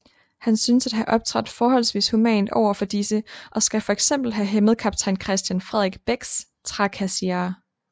Han synes at have optrådt forholdsvis humant over for disse og skal fx have hæmmet kaptajn Christian Frederik Becks trakasserier